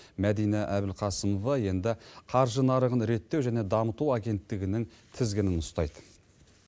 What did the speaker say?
мәдина әбілқасымова енді қаржы нарығын реттеу және дамыту агенттігінің тізгінін ұстайды